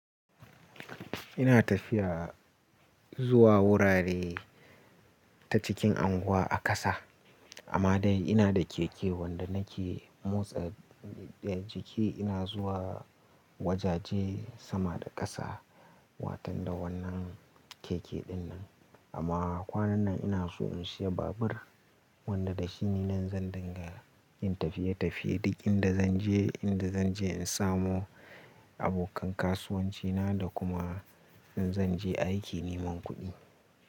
Ina tafiya zuwa wurare ta cikin unguwa a ƙasa, amma dai ina da keke wanda nake motsa da jiki. Ina zuwa wajaje sama da ƙasa watan da wannan keke dinnan. Amma kwanan nan ina so in siya babur wanda da shi ne zan dinga yin tafiye tafiye duk inda zan je, inda zan je in samu abokan kasuwancina da kuma in zan je aiki neman kuɗi.